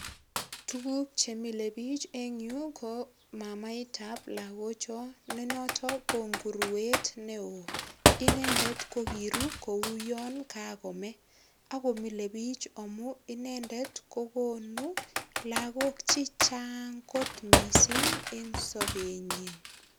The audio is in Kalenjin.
Tugukche mile biich en yu ko mamaitab lagocho ne noto ko inguruet neo. Inendet ko kiru kuoyon kakome ak komilebich amu inendet kokonu lagok che chaang kot mising en sobenyin.